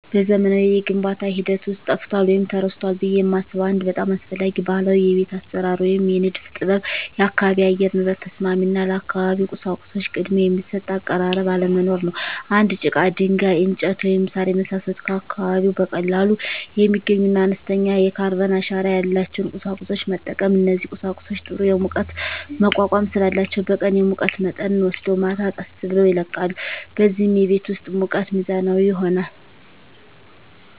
በዘመናዊው የግንባታ ሂደት ውስጥ ጠፍቷል ወይም ተረስቷል ብዬ የማስበው አንድ በጣም አስፈላጊ ባህላዊ የቤት አሰራር ወይም የንድፍ ጥበብ የአካባቢ የአየር ንብረት ተስማሚ እና ለአካባቢው ቁሳቁሶች ቅድሚያ የሚሰጥ አቀራረብ አለመኖር ነው። እንደ ጭቃ፣ ድንጋይ፣ እንጨት፣ ወይም ሣር የመሳሰሉ ከአካባቢው በቀላሉ የሚገኙና አነስተኛ የካርበን አሻራ ያላቸውን ቁሳቁሶች መጠቀም። እነዚህ ቁሳቁሶች ጥሩ የሙቀት መቋቋም ስላላቸው በቀን የሙቀት መጠንን ወስደው ማታ ቀስ ብለው ይለቃሉ፣ በዚህም የቤት ውስጥ ሙቀት ሚዛናዊ ይሆናል።